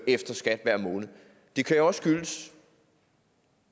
efter skat hver måned det kan jo også skyldes